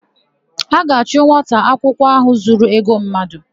A ga-achụ nwata akwụkwọ áhụ̀ zuru ego mmadụ.